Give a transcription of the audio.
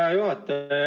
Hea juhataja!